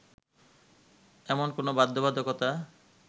এমন কোনো বাধ্যবাধকতা